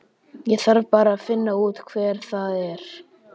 Ég þarf bara að finna út hver það er.